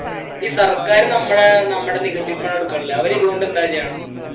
ഈ സർക്കാർ നമ്മുടെ നമ്മുടെ നികുതിപ്പണം എടുക്കണില്ലേ അവര് ഇതുകൊണ്ട് എന്താ ചെയ്യണേ